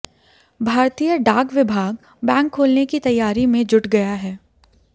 भारतीय डाक विभाग बैंक खोलने की तैयारी में जुट गया है